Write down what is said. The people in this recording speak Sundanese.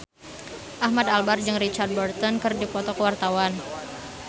Ahmad Albar jeung Richard Burton keur dipoto ku wartawan